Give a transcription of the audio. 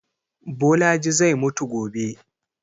Bolaji zai mutu gobe